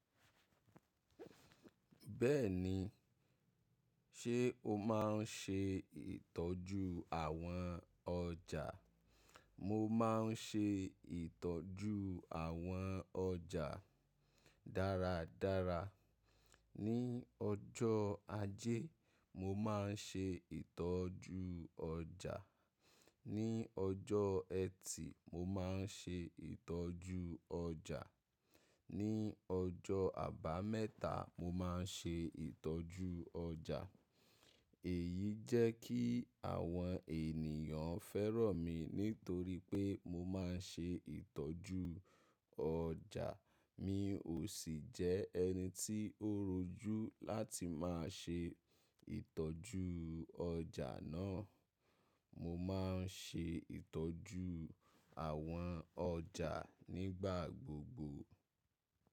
Bẹ́ẹ̀ni, ṣe o máa ń ṣe ìtọ́jú àwọn ọjà? Mo máa ń ṣe ìtọ́jú àwọn ọjà dáradára. Ní ọjọ́ ajé, mo máa ń ṣe ìtọ́jú ọjà. Ní ọjọ́ ẹtì, mo máa ń ṣe ìtọ́jú ọjà. Ní ọjọ́ àbámẹ́ta, mo máa ń ṣe ìtọ́jú ọjà. Èyí jẹ́ kí àwọn ènìyàn fẹ́ràn mi nítorí pé mo máa ń ṣe ìtọ́jú ọjà, mi ò sì jẹ ẹni tí ó rojú láti máa ṣe ìtọ́jú ọjà náà. Mo máa ń ṣe ìtọ́jú àwọn ọjà nígbà gbogbo.